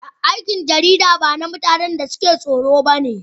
Aikin jarida ba na mutanen da suke tsoro ba ne